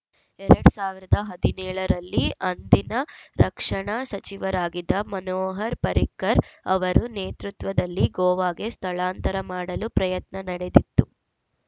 ಎರಡ್ ಸಾವಿರದ ಹದಿನೇಳ ರಲ್ಲೇ ಅಂದಿನ ರಕ್ಷಣಾ ಸಚಿವರಾಗಿದ್ದ ಮನೋಹರ್‌ ಪರಿಕ್ಕರ್‌ ಅವರ ನೇತೃತ್ವದಲ್ಲಿ ಗೋವಾಗೆ ಸ್ಥಳಾಂತರ ಮಾಡಲು ಪ್ರಯತ್ನ ನಡೆದಿತ್ತು